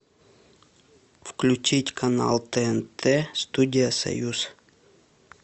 включить канал тнт студия союз